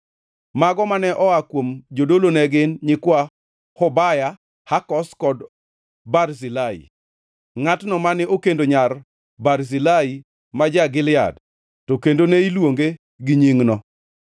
Mago mane oa kuom jodolo ne gin: nyikwa Hobaya, Hakoz kod Barzilai (ngʼatno mane okendo nyar Barzilai ma ja-Gilead to kendo ne iluonge gi nyingno).